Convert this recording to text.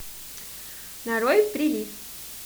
нарой прилив